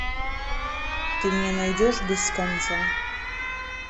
ты мне найдешь без конца